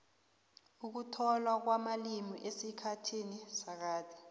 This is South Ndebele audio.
ukutlolwa kwamalimi esikhathini sakade